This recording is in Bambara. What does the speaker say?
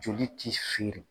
Joli t'i feere.